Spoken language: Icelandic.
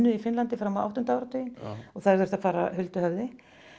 í Finnlandi fram á áttunda áratuginn og þær þurftu að fara huldu höfði